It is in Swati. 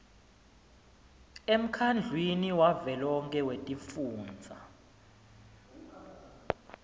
emkhandlwini wavelonkhe wetifundza